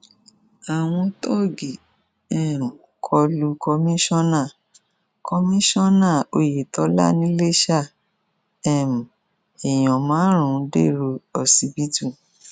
àwọn tóògì um kọ lu kọmíkànnà kọmíkànnà oyetola nìlèṣà um èèyàn márùnún dèrò ọsibítù